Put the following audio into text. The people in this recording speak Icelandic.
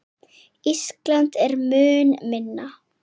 Ísland er mun minna.